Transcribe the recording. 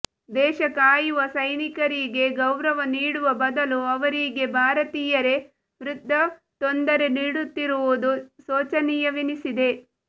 ದೇಶ ಕಾಯುವ ಸೈನಿಕರಿಗೆ ಗೌರವ ನೀಡುವ ಬದಲು ಅವರಿಗೆ ಭಾರತೀಯರೇ ವೃಥಾ ತೊಂದರೆ ನೀಡುತ್ತಿರುವುದು ಶೋಚನೀಯವೆನ್ನಿಸಿದೆ